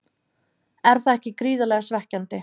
Er það ekki gríðarlega svekkjandi?